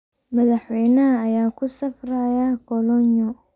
Madaxweynaha ayaa ku safraya kolonyo.